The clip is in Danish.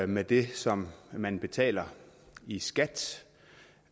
med det som man betaler i skat